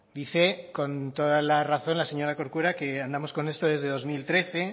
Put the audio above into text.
dice con toda la razón la señora corcuera que andamos con esto desde dos mil trece